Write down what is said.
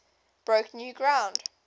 broke new ground